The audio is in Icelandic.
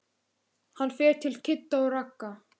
Hann fer til Kidda og Ragga.